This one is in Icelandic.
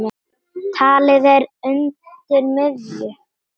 Talið er að undir miðju